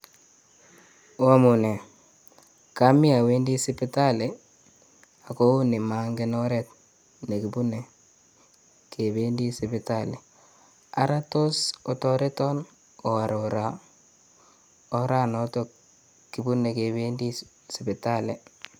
Oamune, komii owendi sipitali akoune mong'en oret nekibune kebendi sipitali, araa toos otereton oarora oranotok kibune kebendi sipitali?